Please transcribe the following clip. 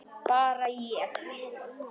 Bara það að ég.